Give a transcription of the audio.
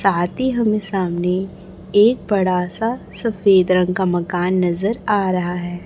साथ ही हमें सामने एक बड़ा सा सफेद रंग का मकान नजर आ रहा है।